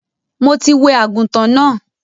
Mo ti wẹ àgùntàn náà.